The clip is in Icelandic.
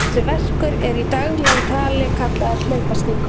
Þessi verkur er í dagleg tali kallaður hlaupastingur.